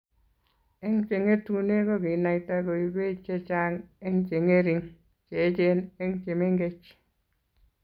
Eng chengetune kokinaita koibei chechang eng chengering, cheechen eng chemengech